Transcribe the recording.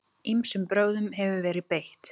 Ýmsum brögðum hefur verið beitt.